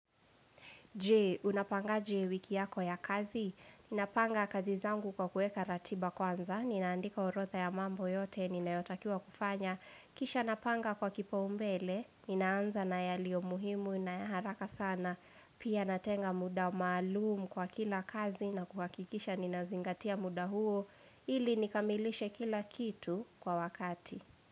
Je, unapangaje wiki yako ya kazi, ninapanga kazi zangu kwa kuweka ratiba kwanza, ninaandika orodha ya mambo yote, ninayotakiwa kufanya, kisha napanga kwa kipaumbele, ninaanza na yaliyo muhimu, na haraka sana, pia natenga muda maalum kwa kila kazi, na kuhakikisha nina zingatia muda huo, ili nikamilishe kila kitu kwa wakati.